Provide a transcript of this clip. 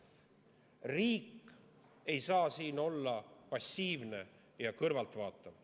Riik ei saa siin olla passiivne kõrvaltvaataja.